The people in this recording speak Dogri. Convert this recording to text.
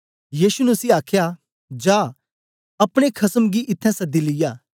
यीशु ने उसी आखया जा अपने खसम गी इत्थैं सद्दी लिया